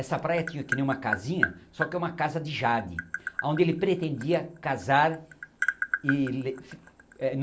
Essa praia tinha que nem uma casinha, só que era uma casa de Jade, onde ele pretendia casar. e eh